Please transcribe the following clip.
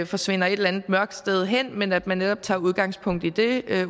forsvinder et eller andet mørkt sted hen men at man netop tager udgangspunkt i det